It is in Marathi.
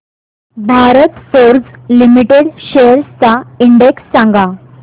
भारत फोर्ज लिमिटेड शेअर्स चा इंडेक्स सांगा